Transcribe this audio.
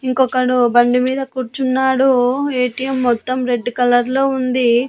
ఇంకొకడు బండి మీద కూర్చున్నాడు ఏ_టీ_ఎం మొత్తం రెడ్ కలర్లో ఉంది.